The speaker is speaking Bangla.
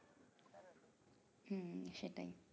হুম সেটাই